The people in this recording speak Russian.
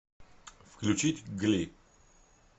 включить гли